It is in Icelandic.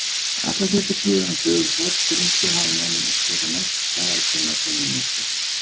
Allar götur síðan á dögum Forn-Grikkja hafa menn getað mælt staðartíma tunglmyrkva.